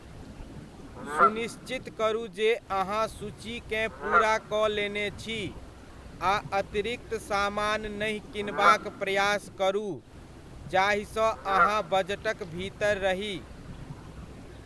सुनिश्चित करू जे अहाँ सूचीकेँ पूरा कऽ लेने छी, आ अतिरिक्त समान नहि किनबाक प्रयास करू, जाहिसँ अहाँ बजटक भीतर रही।